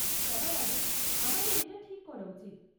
সবার আগে আমাদের এটা ঠিক করা উচিত।